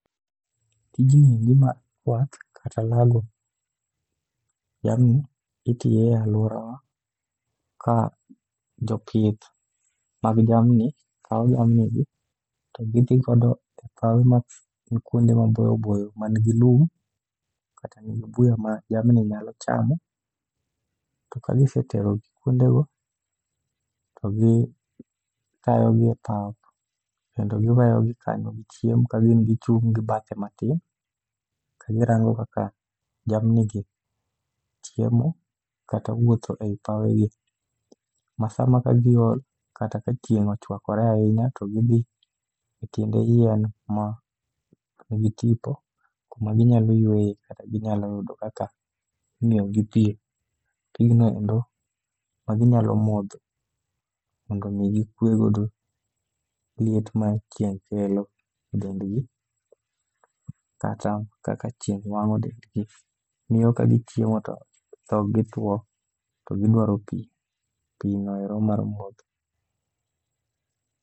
Tunji endo mar kwath kata lago jamni itiye e alworawa ka jopith mag jamni kawo jamni gi to gidhigodo e pawe man kuonde maboyo boyo man gi lum. Kata nigi buya ma jamni nyalo chamo. To ka giseterogi kuondego, to gitayogi e pap kendo giweyo gi kanyo gichiemo kagin gichung' gi bathe matin. Ka girango kaka jamni gi chiemo kata wuotho ei pawe gi, ma sama ka giol kata ka chieng' ochwakore ahinya to gidhi e tiende yien ma nigi tipo. Kuma ginyalo yweye kata ginyalo yudo kaka imiyogi pi, pignoendo ma ginyalo modho. Mondo mi gikwegodo liet ma chieng' kelo e dendgi. Kata kaka chieng' wang'o dendgi miyo kagichiemo to dhog gi tuo to gidwaro pi, pi noero mar modho.